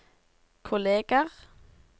kolleger